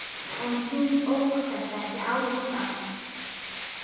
En hún óttast ekki álfa.